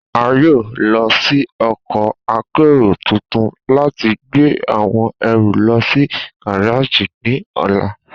A yoo lo ọkọ́ akero tuntun lati gbe awọn ẹru lọ si gareji ni ọla.